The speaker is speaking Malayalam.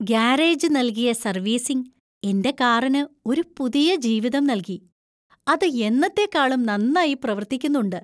ഗാരേജ് നൽകിയ സർവീസിംഗ്‌ എന്‍റെ കാറിന് ഒരു പുതിയ ജീവിതം നൽകി; അത് എന്നത്തേക്കാളും നന്നായി പ്രവർത്തിക്കുന്നുണ്ട് !